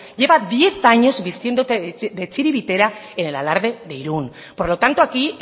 lleva diez años vistiendo de txiribitera en el alarde de irún por lo tanto aquí